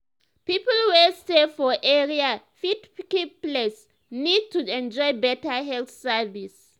people wey stay for area fit keep place neat to enjoy better health service.